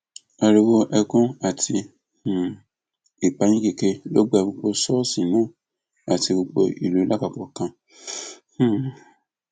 òṣìbìtú uch nílùú ibalodàn tó ti wà láti bíi oṣù díẹ ni wọn ní ọba àlàyé náà dákẹ sí